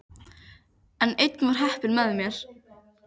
En enn var heppnin með mér.